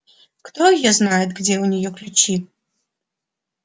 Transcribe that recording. кто её знает где у ней ключи